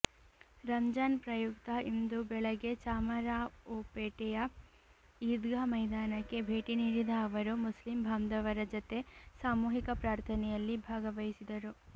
ರಂಜಾನ್ ಪ್ರಯುಕ್ತ ಇಂದು ಬೆಳಗ್ಗೆ ಚಾಮರಾಒಪೇಟೆಯ ಈದ್ಗಾ ಮೈದಾನಕ್ಕೆ ಭೇಟಿ ನೀಡಿದ ಅವರು ಮುಸ್ಲಿಂಬಾಂಧವರ ಜತೆ ಸಾಮೂಹಿಕ ಪ್ರಾರ್ಥನೆಯಲ್ಲಿ ಭಾಗವಹಿಸಿದರು